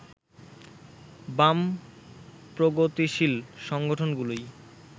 বাম-প্রগতিশীল সংগঠনগুলোই